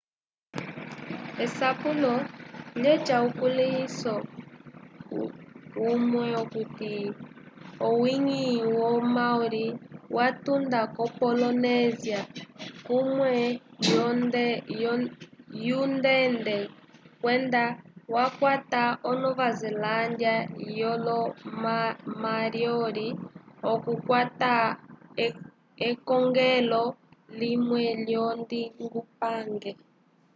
esapulo lyaca ukulĩhiso umwe okuti owi-ngi wo maori watunda k0 polinésia kunene wungende kwenda wakwata o nova zelândia vyolo mariori okukwata ekongelo linene lyolondingupange